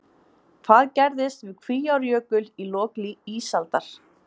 Hvað gerðist við Kvíárjökul í lok ísaldar?